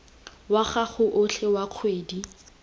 wa gago otlhe wa kgwedi